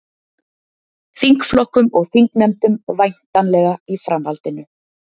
Þingflokkum og þingnefndum væntanlega í framhaldinu